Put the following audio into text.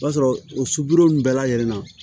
O b'a sɔrɔ o suro ninnu bɛɛ lajɛlen na